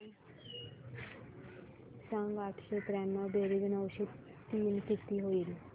सांग आठशे त्र्याण्णव बेरीज नऊशे तीन किती होईल